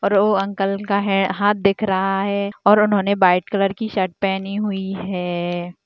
और वो अंकल का हाँ-हाथ दिखा रहा है और उन्होंने वाइट कलर की शर्ट पहनी हुई है।